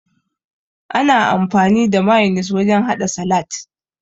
Ana amfani da mayonis wurin haɗa salat